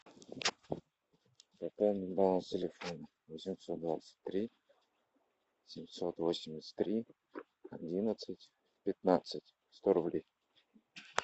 пополнить баланс телефона восемьсот двадцать три семьсот восемьдесят три одиннадцать пятнадцать сто рублей